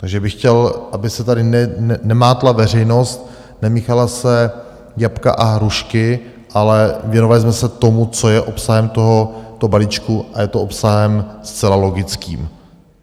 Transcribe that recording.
Takže bych chtěl, aby se tady nemátla veřejnost, nemíchala se jablka a hrušky, ale věnovali jsme se tomu, co je obsahem tohoto balíčku, a je to obsahem zcela logickým.